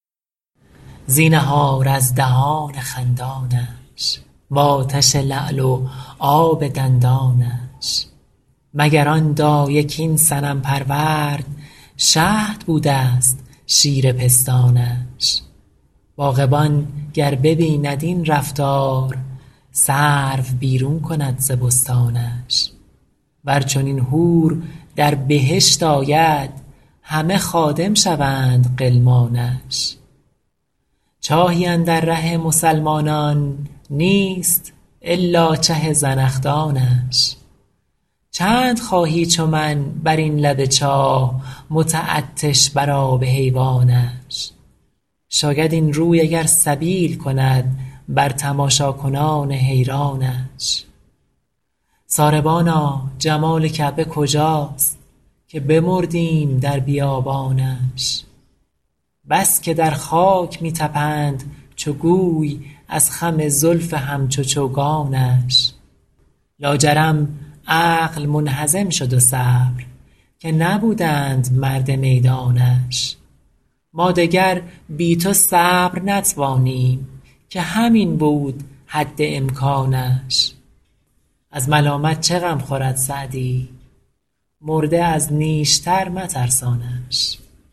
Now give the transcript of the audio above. زینهار از دهان خندانش و آتش لعل و آب دندانش مگر آن دایه کاین صنم پرورد شهد بوده ست شیر پستانش باغبان گر ببیند این رفتار سرو بیرون کند ز بستانش ور چنین حور در بهشت آید همه خادم شوند غلمانش چاهی اندر ره مسلمانان نیست الا چه زنخدانش چند خواهی چو من بر این لب چاه متعطش بر آب حیوانش شاید این روی اگر سبیل کند بر تماشاکنان حیرانش ساربانا جمال کعبه کجاست که بمردیم در بیابانش بس که در خاک می طپند چو گوی از خم زلف همچو چوگانش لاجرم عقل منهزم شد و صبر که نبودند مرد میدانش ما دگر بی تو صبر نتوانیم که همین بود حد امکانش از ملامت چه غم خورد سعدی مرده از نیشتر مترسانش